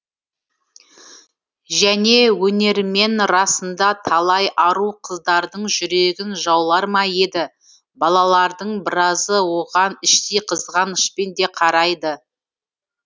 және өнерімен расында талай ару қыздардың жүрегін жаулар ма еді балалардың біразы оған іштей қызғанышпен де қарайды